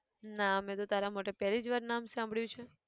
ના મેં તો તારા મોઢે પેહલી જ વાર નામ સાંભળ્યું છે!